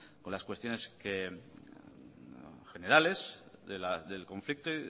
con las cuestiones generales del conflicto